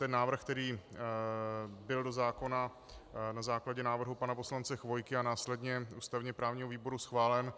Ten návrh, který byl do zákona na základě návrhu pana poslance Chvojky a následně ústavně právního výboru schválen,